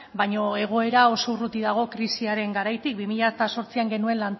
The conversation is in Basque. baina egoera oso urruti dago krisiaren garaitik bi mila zortzian genuen